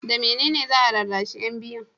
da mene ne za a rarrashi yan biyun?